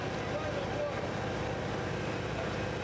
Gəlin, gəlin, gəlin, gəlin, gəlin!